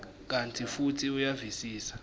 kantsi futsi uyavisisa